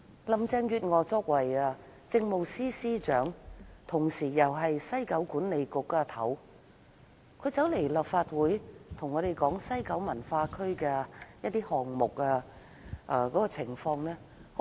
林鄭月娥作為當時的政務司司長，同時又是西九管理局的主席，她來到立法會向議員講述西九文化區的項目情況時，十分虛偽。